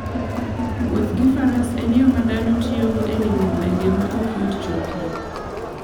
Wuoth gi faras en yo ma dhano tiyogo e limo gwenge ma ok yot chopoe.